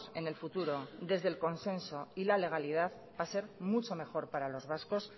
en el futuro desde el consenso y la legalidad va a ser mucho mejor para los vascos